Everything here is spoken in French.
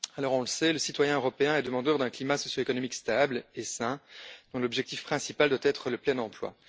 On le sait, le citoyen européen est demandeur d'un climat socio économique stable et sain, dont l'objectif principal doit être le plein emploi.